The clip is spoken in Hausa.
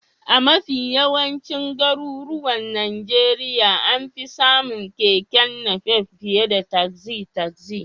A mafi yawancin garuruwan Najeriya an fi samun Keke Napep fiye da tasi-tasi.